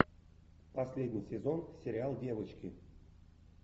последний сезон сериал девочки